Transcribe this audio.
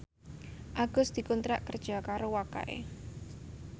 Agus dikontrak kerja karo Wakai